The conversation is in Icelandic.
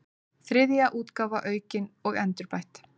þriðja útgáfa aukin og endurbætt